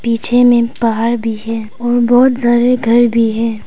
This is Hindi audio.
पीछे में पहाड़ भी है और बहुत ज्यादे घर भी है।